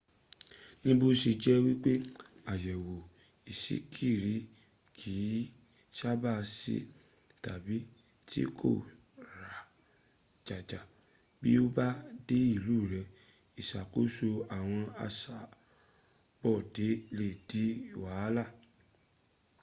níbóse jẹ́ wípé àyẹ̀wò ìṣíkiri kì í sábàá sí tàbí tí kò ra jaja bí o bá dé ilú rẹ ìsàkóso àwọn asọ́bodè lè di wàhálà